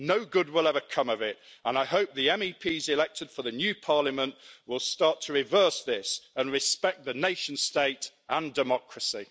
No good will ever come of it and I hope the MEPs elected for the new Parliament will start to reverse this and respect the nation state and democracy.